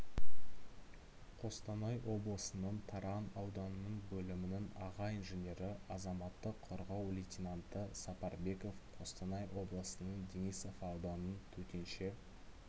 қостанай облысының таран ауданының бөлімінің аға инженері азаматтық қорғау лейтенанты сапарбеков қостанай облысының денисов ауданының төтенше